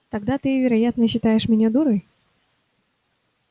тогда ты вероятно считаешь меня дурой